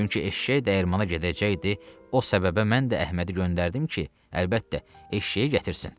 Çünki eşşək dəyirmana gedəcəkdi, o səbəbə mən də Əhmədi göndərdim ki, əlbəttə, eşşəyi gətirsin.